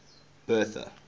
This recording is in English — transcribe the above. bertha